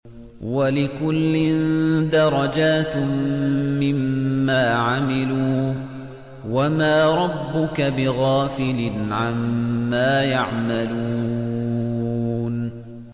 وَلِكُلٍّ دَرَجَاتٌ مِّمَّا عَمِلُوا ۚ وَمَا رَبُّكَ بِغَافِلٍ عَمَّا يَعْمَلُونَ